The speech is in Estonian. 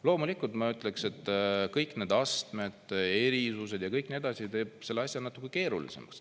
Loomulikult ma ütleksin, et kõik need astmed, erisused ja kõik nii edasi, teeb selle asja natuke keerulisemaks.